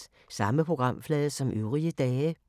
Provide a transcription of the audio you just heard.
Samme programflade som øvrige dage